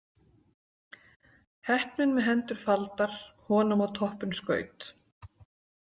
Heppnin með hendur faldar honum á toppinn skaut.